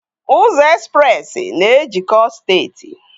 Ụzọ Express na ejikọọ steeti